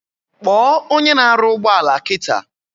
Kpo onye na aru ugboala kita!